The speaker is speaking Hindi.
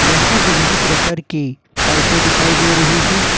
यहां विभिन्न प्रकार की पाइपे दिखाई दे रही है।